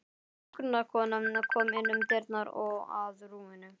Hjúkrunarkona kom inn um dyrnar og að rúminu.